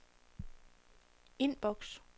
inbox